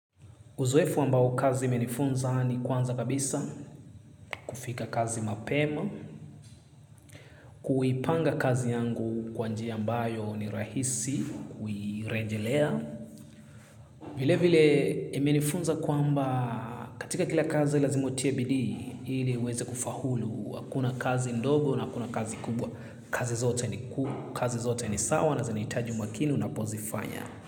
Uzoefu ambao kazi imenifunza ni kwanza kabisa, kufika kazi mapema, kuipanga kazi yangu kwa njia ambayo ni rahisi, kuirejelea. Vile vile imenifunza kwaamba katika kila kazi lazima utie bidii, ili uweze kufaulu, hakuna kazi ndogo na hakuna kazi kubwa. Kazi zote ni kuu, kazi zote ni sawa na zanitaji umakini na unapozifanya.